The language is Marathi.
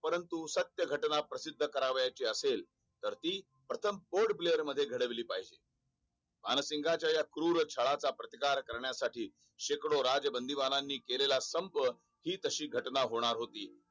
परंतु सत्य घटना प्रसिद्ध करावयाची असेल. तर ती प्रथम FOREPLAY खेळाडू मध्ये घडविली पाहिजे भानसिंगाच्या क्रूरछळाचा प्रतिकार करण्यासाठी शेकडो राजबंदीबाणांनी केलेला संप हि तशी घटना होणार होती.